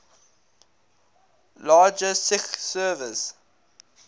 larger sgi servers